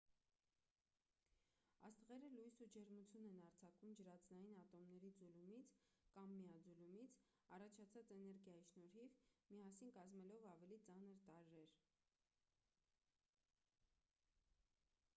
աստղերը լույս ու ջերմություն են արձակում ջրածնային ատոմների ձուլումից կամ միաձուլումից առաջացած էներգիայի շնորհիվ՝ միասին կազմելով ավելի ծանր տարրեր։